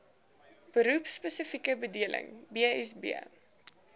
beroepspesifieke bedeling bsb